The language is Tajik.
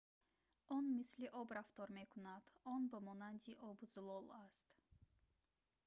он мисли об рафтор мекунад он ба монанди об зулол аст